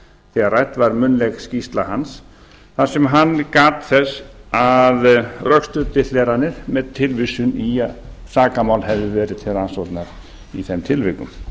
þegar rædd var munnleg skýrsla hans þar sem hann gat þess að rökstuddi hleranir með tilvísun í sakamál hefði verið til rannsóknar í þeim tilvikum